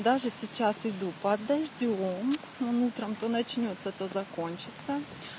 даже сейчас иду под дождём он утром то начнётся то закончится